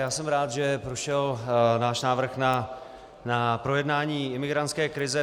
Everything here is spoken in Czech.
Já jsem rád, že prošel náš návrh na projednání imigrantské krize.